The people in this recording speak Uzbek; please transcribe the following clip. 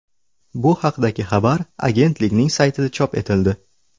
Bu haqdagi xabar agentlikning saytida chop etildi .